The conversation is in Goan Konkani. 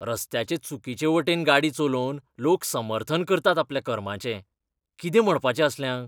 रस्त्याचे चुकीचे वटेन गाडी चलोवन लोक समर्थन करतात आपल्या कर्माचें. कितें म्हणपाचें असल्यांक!